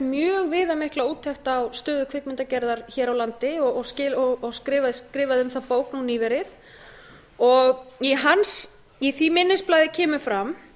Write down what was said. mjög viðamikla úttekt á stöðu kvikmyndagerðar hér á landi og skrifað um það bók nú nýverið í því minnisblaði kemur fram